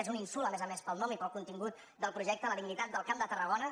és un insult a més a més pel nom i pel contingut del projecte a la dignitat del camp de tarragona